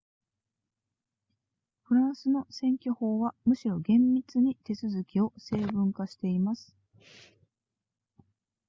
フランスの選挙法はむしろ厳密に手続きを成文化しています